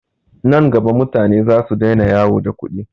Nan gaba mutane zasu daina yawo da kuɗi.